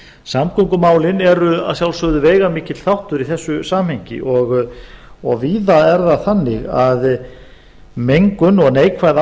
samgöngumálin eru að sjálfsögðu veigamikill þáttur í þessu samhengi og víða er það þannig að mengun og neikvæð